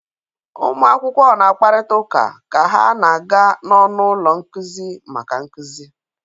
Ụmụ akwụkwọ na-akparịta ụka ka ha na-aga n'ọnụ ụlọ nkuzi maka nkuzi.